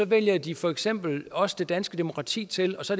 vælger de for eksempel også det danske demokrati til og så